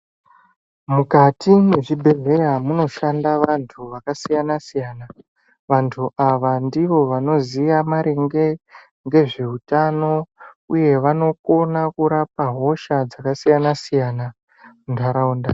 Mukati mwezvibhedhlera munoshanda vantu vakasiyana siyana, vantu ava ndivo vanozive maringe ngezveutano uye vanokona kurapa hosha dzakasiyana siyana munharaunda